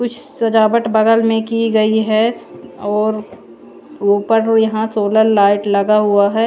Push सजावट बगल में की गई है और उपरमें यहाँ सोलर लाईट लगा हुआ है।